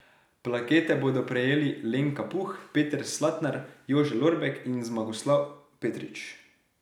Plakete bodo prejeli Lenka Puh, Peter Slatnar, Jože Lorbek in Zmagoslav Petrič.